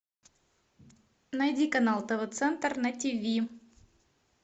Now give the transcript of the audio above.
найди канал тв центр на тиви